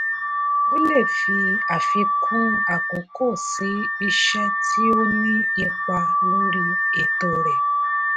ó lè fi àfikún àkókò sí iṣẹ́ tí ó ní ipa lórí ètò rẹ̀.